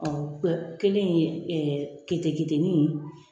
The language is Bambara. kelen ye kete ketenin